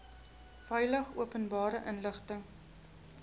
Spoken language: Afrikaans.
veilig openbare inligting